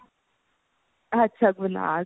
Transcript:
ਅੱਛਾ ਗੁਨਾਜ਼